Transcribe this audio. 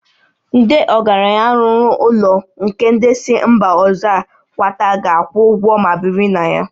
Ndị ọgaranya lụrụ ụlọ nke ndị si mba ọzọ a kwata ga akwụ ụgwọ ma biri na ya